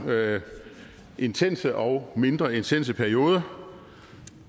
intense og mindre intense perioder